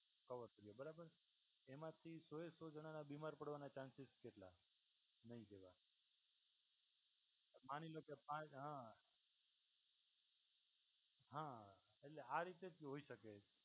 Cover થયું બરાબર એમાંથી સો એ સો જણાના બીમાર પડવાના ચાન્સીસ કેટલાનાં નહિ જોયા માની લો કે ફા હ, હા એટલે આ રીતે હોઈ શકે છે.